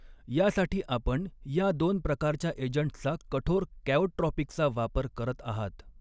यासाठी आपण या दोन प्रकारच्या एजंट्सचा कठोर कॅओट्रॉपिकचा वापर करत आहात.